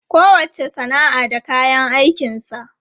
Kowacce sana'a da kayan aikinsa.